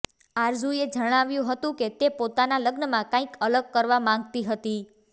આરઝૂએ જણાવ્યું હતું કે તે પોતાના લગ્નમાં કંઈક અલગ કરવા માંગતી હતી